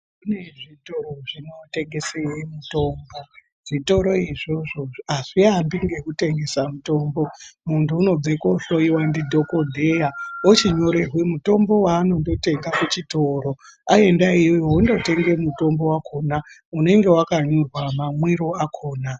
Kune zvitoro zvinotengese mitombo, zvitoro izvozvo hazvihambi nekutengese mitombo, muntu unobveko ndidhokodheya ochinyorerwe mutombo waandonotenga kuchitoro, waenda iyeyo onotenga mutombo wakona unenge wakanyorwa mamwire akona.